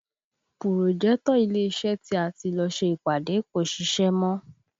Pùròjẹ́tọ̀ ilé iṣẹ́ tí a ti lọ ṣe ìpàdé kò ṣiṣẹ́ mọ́